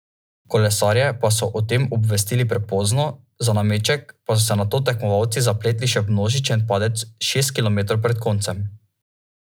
Kolesarje pa so o tem obvestili prepozno, za nameček pa so se nato tekmovalci zapletli še v množičen padec šest kilometrov pred koncem ...